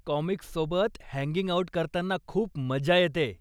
काॅमिक्ससोबत hanging out करताना खूप मजा येतेय.